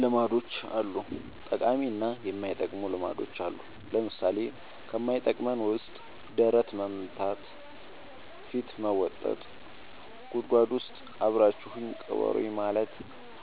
ልማዶች አሉ ጠቃሚ እና የማይጠቅሙ ልማዶች አሉን ለምሳሌ ከማይጠቅመን ውስጥ ደረት መምታ ፊት መቦጠጥ ጉድጎድ ውስጥ አብራችሁኝ ቅበሩኝ ማለት